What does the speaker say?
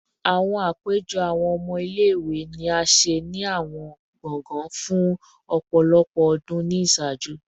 Awọn apejọ awọn ọmọ ile-iwe ni a ṣe ni awọn gbọngàn fun ọpọlọpọ ọdun ni iṣaaju